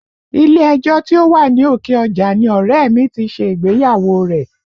Ilé ẹjọ́ tí ó wà ní Òkè Ọjà ni ọ̀rẹ́ ẹ̀ mi ti ṣe ìgbéyàwó rẹ̀